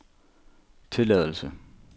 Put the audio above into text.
tilladelse